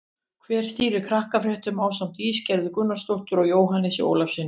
Hver stýrir Krakkafréttum ásamt Ísgerði Gunnarsdóttur og Jóhannesi Ólafssyni?